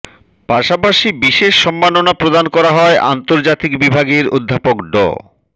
পাশাপাশি বিশেষ সম্মাননা প্রদান করা হয় আন্তর্জাতিক বিভাগের অধ্যাপক ড